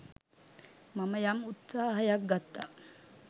මම යම් උත්සාහයක් ගත්තා.